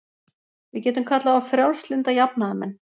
Við getum kallað þá frjálslynda jafnaðarmenn.